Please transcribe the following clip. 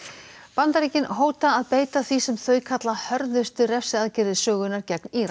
Bandaríkin hóta að beita því sem þau kalla hörðustu refsiaðgerðir sögunnar gegn Íran